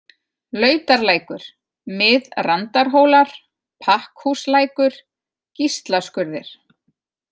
Lautarlækur, Mið-Randarhólar, Pakkhúslækur, Gíslaskurðir